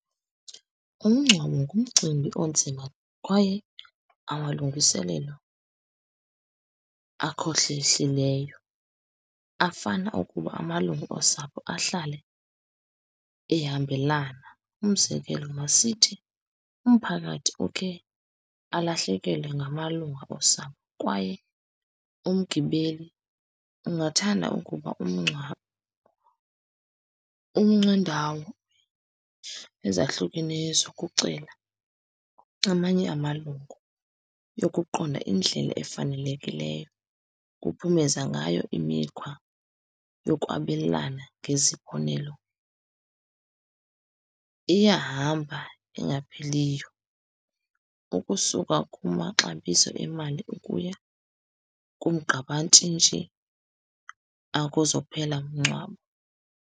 Umngcwabo ngumcimbi onzima kwaye amalungiselelo afana ukuba amalungu osapho ahlale ehambelana. Umzekelo, masithi umphakathi ukhe alahlekelwe ngamalunga osapho kwaye umgibeli ungathanda ukuba umngcwabo ezahlukeneyo zokucela amanye amalungu yokuqonda indlela efanelekileyo kuphumeza ngayo imikhwa yokwabelana ngezibonelo. Iyahamba engapheliyo ukusuka kumaxabiso emali ukuya kumgqabantshintshi akuzophela mngcwabo.